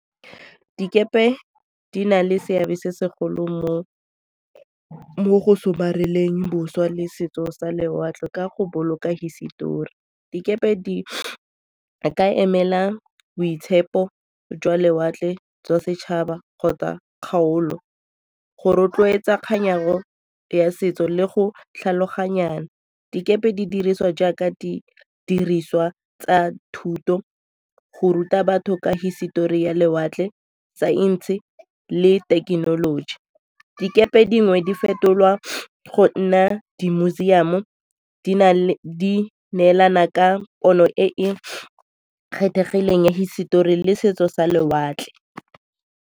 Dikepe di na le seabe se segolo mo go somareleng boswa le setso sa lewatle ka go boloka hisetori. Dikepe di ka emela boitshepo jwa lewatle jwa setšhaba kgotsa kgaolo go rotloetsa ya setso le go tlhaloganyana. Dikepe di diriswa jaaka di diriswa tsa thuto, go ruta batho ka hisetori ya lewatle, saense le thekenoloji. Dikepe dingwe di fetolwa go nna di museum-o, di neelana ka pono e e kgethegileng ya hisetori le setso sa lewatle.